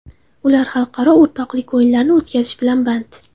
Ular xalqaro o‘rtoqlik o‘yinlarini o‘tkazish bilan band.